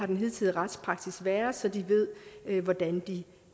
den hidtidige retspraksis har været så de ved hvordan de